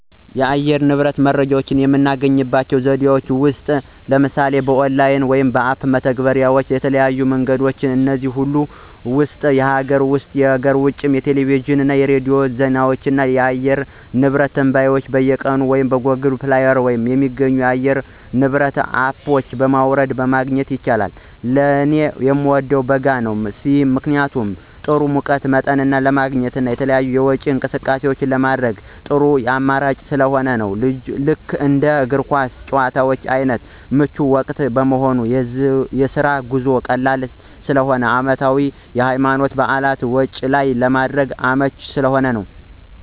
የአየር ንብረት መረጃ ለማግኘት ከምጠቀምበት አንዱ ስልኬ ላይ በየቀኑ ከሚደርሰኝ የኦንላይን እና በሞባይል መተግበሪያ (አፕ) ላይ ሲሆን መረጃውን ለማግኘት የተለያዩ መንገዶችም አሉ ከነዚህም ውስጥ የሀገር ውስጥ (የውጭ) የቴሌቪዥን እና የሬዲዮ ዜናዎች ላይ የአየር ንብረት ትንበያ በየቀኑ ይቀርባሉ። በGoogle Play ስቶር የሚገኙ የአየር ንብረት አፖች በማውረድ ማግኘት ይቻላል። ለኔ ምወደው ወቅት በጋ ሲሆን ምክንያቱም ጥሩ የሙቀት መጠን ለማግኘት እና የተለያዩ የውጪ እንቅስቃሴዎችን ለማድረግ ጥሩ አማራጭ ስለሆነ ልክ እንደ እግር ኳስ ጭዋታ አይነቶች ምቹ ወቅት በመሆኑ፣ የስራ ጉዞ ቀላል ስለሚሆን፣ አመታዊ የሀይማኖታዊ በዓላትን ውጭ ላይ ለማድረግ አመቺ ስለሚሆን።